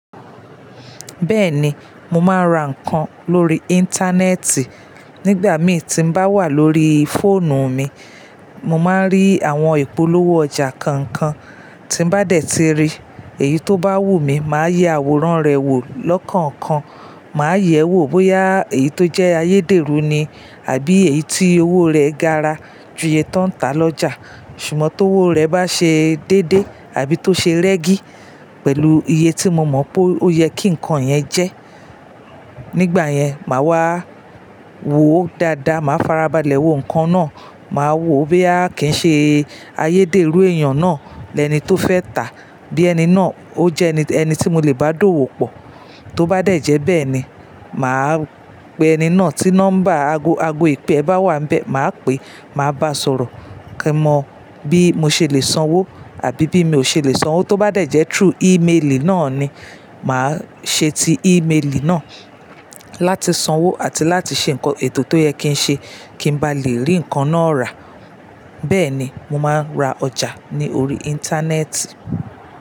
Bẹ́ẹ̀ni, mo máa ń ra nǹkan lórí Íńtánẹ́ẹ̀tì. Nígbà mí tí ń bá wà lórí fóònù mi, mo máa ń rí àwọn ìpolówó ọjà kànkan. Tí ń bá dé ti rí èyí tó bá wùmí, màá yẹ àwòrán rẹ̀ wò lọ́kànkan. Màá yẹ̀ wò bóyá èyí tó jẹ́ ayédèrú ni àbí èyí tí owó rẹ̀ gara ju iye tó ń ta lọ́jà. Ṣùgbọ́n tówó rẹ̀ bá ṣe dédé àbí tó ṣe rẹ́gì pẹ̀lú iye tí mo mọ̀ pé ó yẹ kí nǹkan yẹn jẹ́, nígbà yẹn mà wá wò ó dáadáa. Màá farabalẹ̀ wo nǹkan náà, màá wo bóyá kìí ṣe ayédèrú èèyàn náà lẹni tó fẹ́ tàá, bí ẹni náà ó jẹ́ ẹni tí mo lè bá dówò pọ̀. Tó bá dẹ̀ jẹ́ bẹ́ẹ̀ ni, màá pe ẹni náà tí nọ́mbà ago ìpè é bá wà ńbẹ, màá pe, màá bá sọ̀rọ̀ kí mọ bí mo ṣe lè sanwó àbí bí mi ò ṣe lè sanwó. Tó bá dẹ̀ jẹ́ through ímeélì náà ni, màá ṣe ti íméelì náà láti sanwó àti láti ṣe nǹkan ètò tó yẹ kí ń ṣe kí ń bá lè rí nǹkan náà rà. Bẹ́ẹ̀ni, mo máa ń ra ọjà ní orí Íńtánẹ́ẹ̀tì.